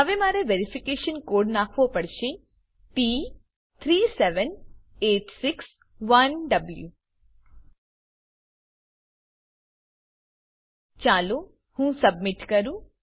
હવે મારે verification code નાખવો પડશે t37861વો ચાલો હું સબમીટ કરું